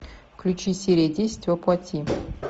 включи серия десять во плоти